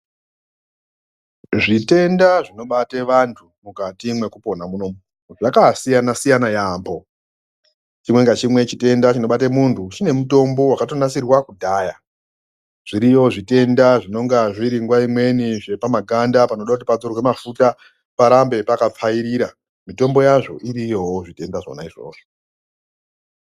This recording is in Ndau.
Zvitenda zvinobate vantu mukati mwekupona munomu Zvakasiyana siyana yampoo chimwe ngachimwe chitenda chinobate muntu chine mutombo wakatonasirwe kudhaya zviriyo zvitenda zvinenga zviri nguwa imweni zvepamakanda panode kuti padzorwe mafuta parambe pakapfawirira mutombo yazvo iriyowo zvitenda zvona izvozvo.